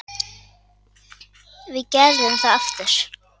Við gerðum það aftur.